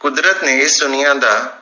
ਕੁਦਰਤ ਨੇ ਇਸ ਦੁਨੀਆਂ ਦਾ